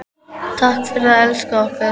Takk fyrir að elska okkur.